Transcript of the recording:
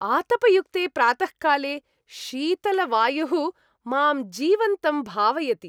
आतपयुक्ते प्रातःकाले शीतलवायुः मां जीवन्तं भावयति।